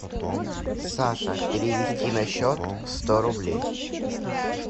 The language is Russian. саша перевести на счет сто рублей